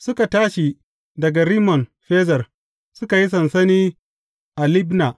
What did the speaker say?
Suka tashi daga Rimmon Ferez, suka yi sansani a Libna.